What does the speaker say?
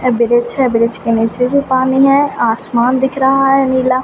और ब्रिज है ब्रिज के निचे जो पानी है आसमान दिख रहा है नीला ।